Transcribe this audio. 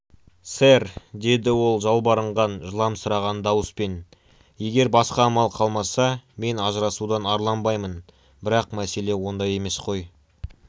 сэр деді ол жалбарынған жыламсыраған дауыспен егер басқа амал қалмаса мен ажырасудан арланбаймын бірақ мәселе онда емес қой